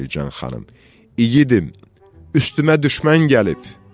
Selcan xanım: İgidim, üstümə düşmən gəlib.